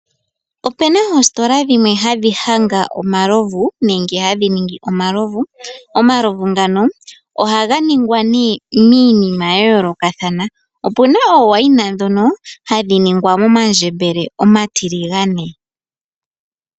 Opu na oositola dhimwe hadhi hanga omalovu nenge hadhi ningi omalovu. Omalovu ngaka ohaga ningwa miiyinima ya yoolokathana. Opu na omaviinu ngoka haga ningwa momandjembele omatiligane.